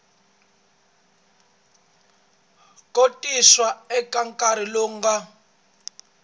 khotsiwa eka nkarhi lowu nga